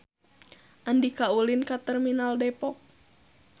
Andika ulin ka Terminal Depok